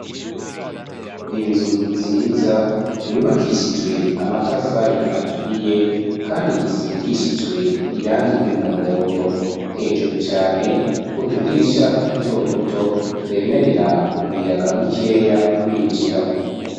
Inzu nziza, yubakishijwe amatafari aturiye kandi isigishijwe irangi ry'umuhondo. Hejuru cane, utudirisha duto duto twemerera umuyaga mukeya kwinjira.